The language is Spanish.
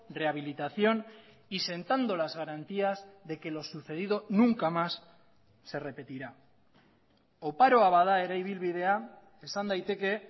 rehabilitación y sentando las garantías de que lo sucedido nunca más se repetirá oparoa bada ere ibilbidea esan daiteke